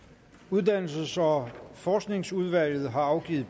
uddannelses og forskningsudvalget har afgivet